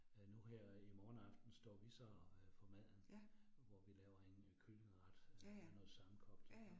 Øh nu her i morgen aften står vi så øh for maden, hvor vi laver en kyllingeret, noget sammenkogt